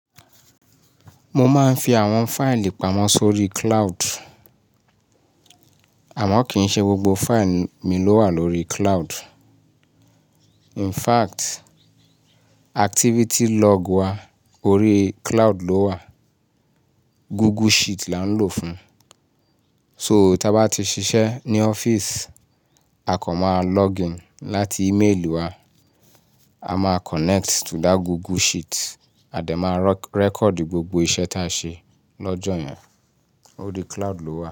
Mo máa ń fi àwọn fáìlì pamọ́ sórí cloud. Àmọ́ kì í ṣe gbogbo fáìlì mi ló wà lórí cloud. In fact, activity log wa orí cloud ló wà. Google Sheet là ń lò fún. So tí a bá ti ṣiṣẹ́ ní ọ́fíìsì, a kàn máa login láti íméèlì wa, a máa connect to that Google Sheet a dẹ̀ máa rẹ́kọ̀dì gbogbo iṣẹ́ ta ṣe lọ́jọ́ yẹn. Orí cloud ló wà.